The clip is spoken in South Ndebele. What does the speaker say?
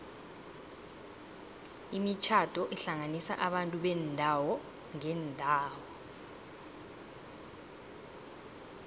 imitjhado ihlanganisa abantu beendawo ngeendawo